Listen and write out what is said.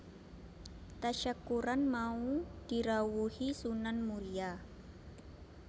Tasyakuran mau dirawuhi Sunan Muria